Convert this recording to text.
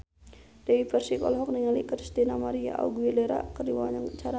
Dewi Persik olohok ningali Christina María Aguilera keur diwawancara